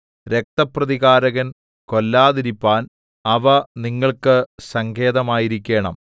രക്തപ്രതികാരകൻ കൊല്ലാതിരിപ്പാൻ അവ നിങ്ങൾക്ക് സങ്കേതമായിരിക്കേണം